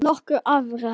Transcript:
Nokkur afrek